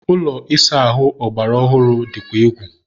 ụlọ ịsa ahụ ọgbara ọhụrụ dịkwa egwu